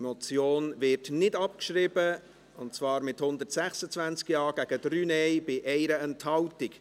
Diese Motion wird nicht abgeschrieben, und zwar mit 126 Ja- gegen 3 Nein-Stimmen bei 1 Enthaltung.